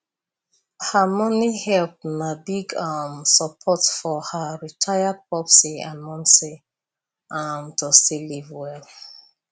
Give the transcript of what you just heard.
her money help na big um support for her retired popsi and momsi um to still live well